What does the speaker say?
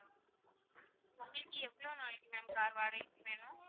உங்களுக்கு எவ்ளோ நாளைக்கு ma'am car வாடகைக்கு வேணும்?